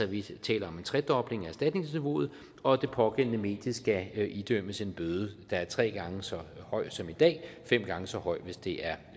vi taler om en tredobling af erstatningsniveauet og det pågældende medie skal idømmes en bøde der er tre gange så høj som i dag og fem gange så høj hvis det er